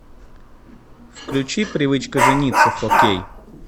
включи привычка жениться фо кей